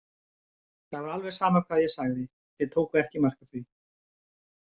Það var alveg sama hvað ég sagði, þeir tóku ekki mark á því.